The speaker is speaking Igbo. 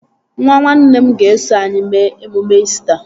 Nwa nwanne m ga-eso anyị mee emume İsita